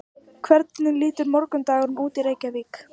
hvernig lítur morgundagurinn út í reykjavík